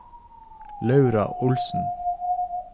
Laura Olsen